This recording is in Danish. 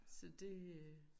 Så det øh